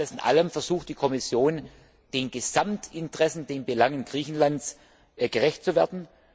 Alles in allem versucht die Kommission, den Gesamtinteressen, den Belangen Griechenlands gerecht zu werden.